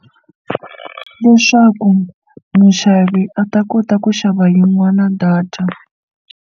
Leswaku muxavi a ta kota ku xava yin'wana data.